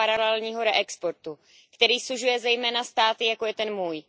paralelního reexportu, který sužuje zejména státy, jako je ten můj.